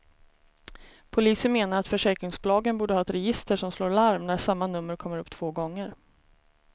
Polisen menar att försäkringsbolagen borde ha ett register som slår larm när samma nummer kommer upp två gånger.